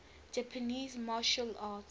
japanese martial arts